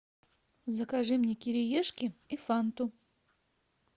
закажи мне кириешки и фанту